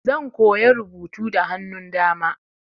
Zan koya rubutu da hannun dama.